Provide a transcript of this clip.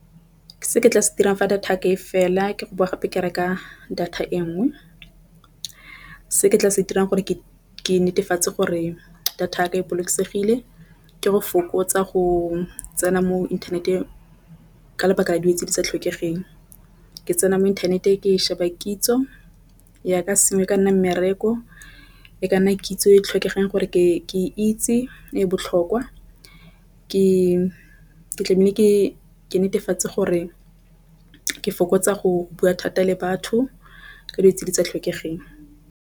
Se ke tla se dirang fa data ya ka e fela ke go boa gape ke reka data e nngwe. Se ke tla se dirang gore ke netefatsa gore data ya ka e bolokesegile ke go fokotsa go tsena mo internet-eng ka lebaka la dilo di sa tlhokegeng ke tsena mo internet-e ke e sheba kitso ya ka sengwe ka nna mmereko e ka nna kitso e e tlhokegang gore ke itse e botlhokwa. Ke ke netefatse gore ke fokotsa go bua thata le batho ka ditsela tsa tlhokegeng.